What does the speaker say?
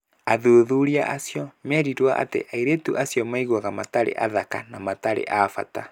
Athuthuria acio meerirũo atĩ airĩtu acio maiguaga matarĩ athaka na matarĩ a bata.